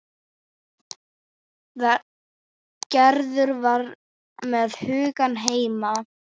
Gerður var með hugann heima.